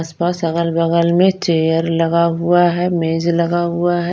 अगल बगल में चेयर लगा हुआ है मेज लगा हुआ है।